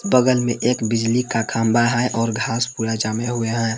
बगल में एक बिजली का खंभा है और घास पूरा जमे हुए है।